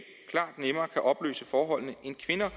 at opløse forholdene end kvinder